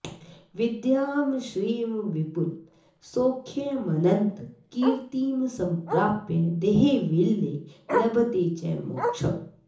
विद्यां श्रियं विपुलसौख्यमनन्तकीर्तिं सम्प्राप्य देहविलये लभते च मोक्षम्